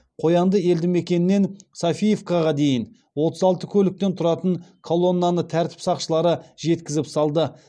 қоянды елді мекенінен софиевкаға дейін отыз алты көліктен тұратын колоннаны тәртіп сақшылары жеткізіп салды